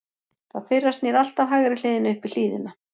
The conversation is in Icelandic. það fyrra snýr alltaf hægri hliðinni upp í hlíðina